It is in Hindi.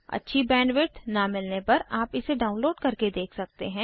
अच्छी बैंडविड्थ न मिलाने पर आप इसे डाउनलोड करके देख सकते हैं